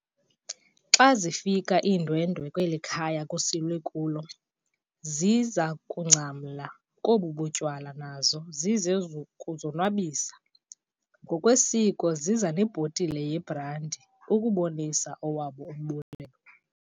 Xa zifika iindwendwe kweli khaya kusilwe kulo, zize kungcamla kobu tywala nazo zizekuzonwabisa, ngokwesiko ziza nebhotile yebrandi, ukubonisa owabo umbuleleo.